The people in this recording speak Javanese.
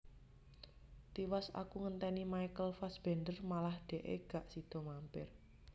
Tiwas aku ngenteni Michael Fassbender malah dekke gak sido mampir